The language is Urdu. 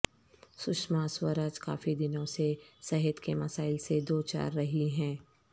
سشما سوراج کافی دنوں سے صحت کے مسائل سے دو چار رہی ہیں